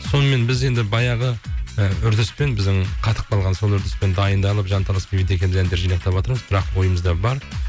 сонымен біз енді баяғы і үрдіспен біздің қатып қалған сол үрдіспен дайындалып жанталасып бейбіт екеуіміз әндерді жинақтап жатырмыз бірақ бойымызда бар